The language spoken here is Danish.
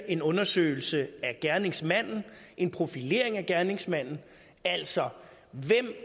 en undersøgelse af gerningsmanden en profilering af gerningsmanden altså hvem